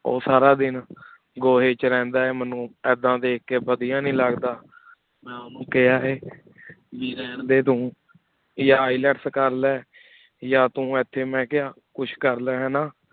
ਓਹ ਸਾਰਾ ਦਿਨ ਗੋਹ੍ਯ ਵਿਚ ਰਹੰਦਾ ਆਯ ਮੇਨੂ ਇਦਾਂ ਦੇਖ ਕੀ ਵਾਦਿਯ ਨਹੀ ਲਗਦਾ ਮੈ ਓਹਨੁ ਕਹਾ ਹੈ ਬੀ ਰਹਨ ਦੇ ਤੂ ਯਾ ILETS ਯਾ ਤੂ ਇਥੀ ਮੈ ਕਹਾ ਕੁਛ ਕਰਲੀ ਨਾ